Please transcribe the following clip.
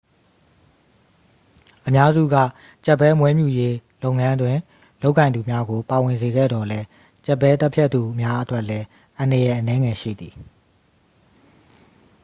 အများစုက ကြက်ဘဲမွေးမြူရေးလုပ်ငန်းတွင် လုပ်ကိုင်သူများကို ပါဝင်စေခဲ့သော်လည်း ကြက်ဘဲသတ်ဖြတ်သူများအတွက်လည်း အန္တရာယ်အနည်းငယ်ရှိသည်